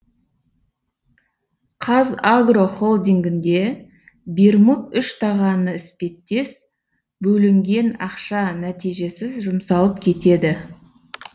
қазагро холдингінде бермуд үштағаны іспеттес бөлінген ақша нәтижесіз жұмсалып кетеді